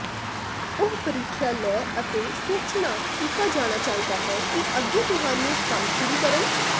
ਉਹ ਪ੍ਰੀਖਿਆ ਲੈ ਅਤੇ ਸੋਚਣਾ ਕੀਤਾ ਜਾਣਾ ਚਾਹੀਦਾ ਹੈ ਦੇ ਅੱਗੇ ਤੁਹਾਨੂੰ ਕੰਮ ਸ਼ੁਰੂ ਕਰਨ